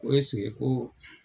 Ko ko.